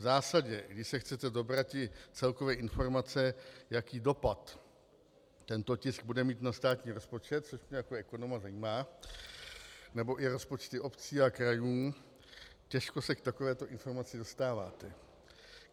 V zásadě když se chcete dobrati celkové informace, jaký dopad tento tisku bude mít na státní rozpočet, což mě jako ekonoma zajímá, nebo i rozpočty obcí a krajů, těžko se k takovéto informaci dostáváte.